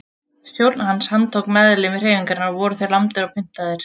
Stjórn hans handtók meðlimi hreyfingarinnar og voru þeir lamdir og pyntaðir.